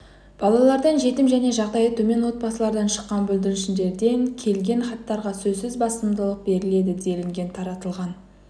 балалардан жетім және жағдайы төмен отбасылардан шыққан бүлдіршіндерден келген хаттарға сөзсіз басымдылық беріледі делінген таратылған